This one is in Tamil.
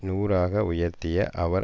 நூறாக உயர்த்திய அவர்